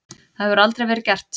Það hefur aldrei verið gert.